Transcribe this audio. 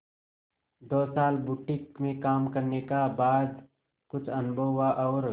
दो साल बुटीक में काम करने का बाद कुछ अनुभव हुआ और